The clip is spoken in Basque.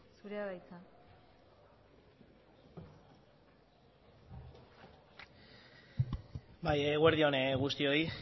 zurea da hitza bai eguerdi on guztioi